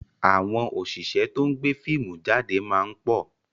Àwọn òṣìṣẹ́ to ń gbé fíìmù jáde máa ń pọ̀